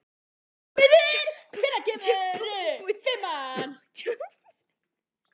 Smiður, hvenær kemur fimman?